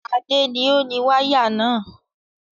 Adé ni ó ni wáyà náà.